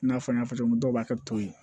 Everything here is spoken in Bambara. I n'a fɔ n y'a fɔ cogo min dɔw b'a kɛ to ye